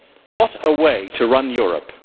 What a way to run Europe!